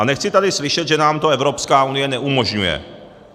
A nechci tady slyšet, že nám to Evropská unie neumožňuje.